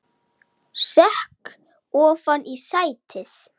Sekk ofan í sætið.